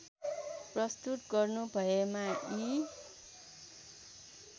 प्रस्तुत गर्नुभएमा यी